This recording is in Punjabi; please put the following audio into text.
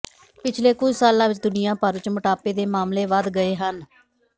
ਪਿਛਲੇ ਕੁਝ ਸਾਲਾਂ ਵਿਚ ਦੁਨੀਆਂ ਭਰ ਵਿਚ ਮੋਟਾਪੇ ਦੇ ਮਾਮਲੇ ਵਧ ਗਏ ਹਨ